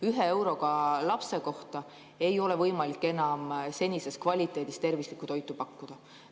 Ühe euroga lapse kohta ei ole võimalik enam senise kvaliteediga tervislikku toitu pakkuda.